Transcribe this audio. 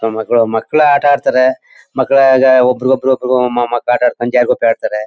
ಮಕ್ಕಳು ಮಕ್ಕಳು ಆಟ ಆಡ್ತಾರೆ ಮಕ್ಕಳು ಈಗ ಒಬ್ಬರಿಗೊಬ್ಬರು ಮಕ್ಕಳು ಆಟ ಆಡ್ಕೊಂಡು ಜಾರುಗುಪ್ಪೆ ಆಡ್ತಾರೆ.